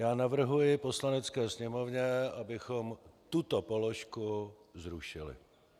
Já navrhuji Poslanecké sněmovně, abychom tuto položku zrušili.